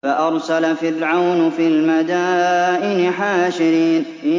فَأَرْسَلَ فِرْعَوْنُ فِي الْمَدَائِنِ حَاشِرِينَ